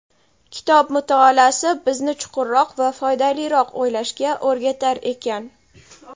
Kitob mutolaasi bizni chuqurroq va foydaliroq o‘ylashga o‘rgatar ekan.